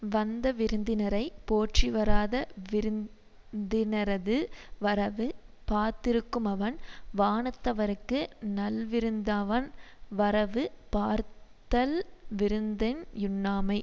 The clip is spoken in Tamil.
வந்த விருந்தினரை போற்றி வாராத விருந்தினரது வரவு பார்த்திருக்குமவன் வானத்தவர்க்கு நல்விருந்தாவன் வரவு பார்த்தல்விருந்தின்யுண்ணாமை